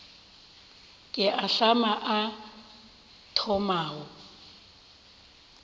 ke a ahlama a thomago